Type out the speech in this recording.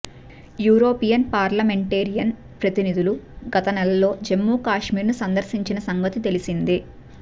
European parliamentarian ప్రతినిధులు గత నెలలో జమ్ముకాశ్మీర్ను సందర్శించిన సంగతి తెలిసిందే